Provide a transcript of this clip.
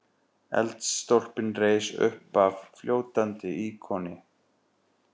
Eldstólpinn reis uppaf fljótandi íkoni.